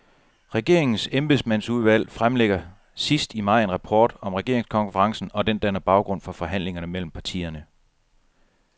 Regeringens embedsmandsudvalg fremlægger sidst i maj en rapport om regeringskonferencen, og den danner baggrund for forhandlingerne mellem partierne.